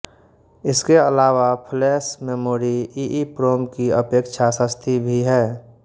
इसके अलावा flash memory EEPROM की अपेक्षा सस्ती भी है